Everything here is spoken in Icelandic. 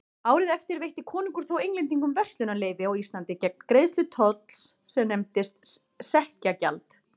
Árið eftir veitti konungur þó Englendingum verslunarleyfi á Íslandi gegn greiðslu tolls sem nefndist sekkjagjald.